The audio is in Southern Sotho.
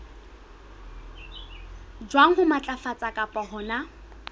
jwang ho matlafatsa kapa hona